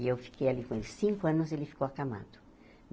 E eu fiquei ali com ele cinco anos e ele ficou acamado.